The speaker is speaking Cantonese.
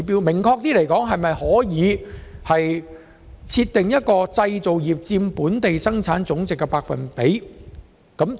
明確來說，政府是否可以訂立製造業佔本地生產總值的目標百分比？